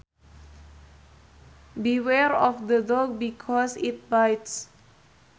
Beware of the dog because it bites